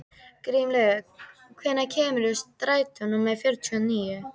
Grímlaugur, hvenær kemur strætó númer fjörutíu og níu?